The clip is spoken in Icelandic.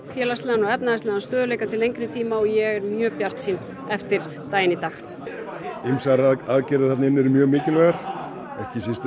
félagslegan og efnahagslegan stöðugleika til lengri tíma og ég er mjög bjartsýn eftir daginn í dag ýmsar aðgerðir þarna inni eru mjög mikilvægar ekki síst